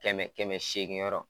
Kɛmɛ kɛmɛ seegin yɔrɔ